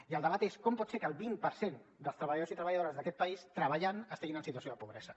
i el debat és com pot ser que el vint per cent dels treballadors i treballadores d’aquest país treballant estiguin en situació de pobresa